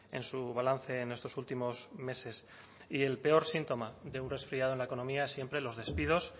en su balance en estos últimos meses y el peor síntoma de un resfriado en la economía siempre los despidos